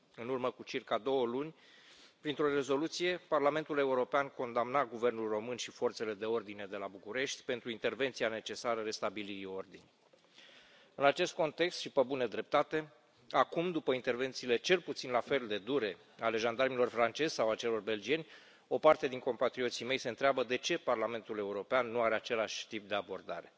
În urmă cu circa două luni, printr o rezoluție, Parlamentul European condamna guvernul român și forțele de ordine de la București pentru intervenția necesară restabilirii ordinii. În acest context și, pe bună dreptate, acum, după intervențiile cel puțin la fel de dure ale jandarmilor francezi sau ale celor belgieni, o parte din compatrioții mei se întreabă de ce Parlamentul European nu are același tip de abordare.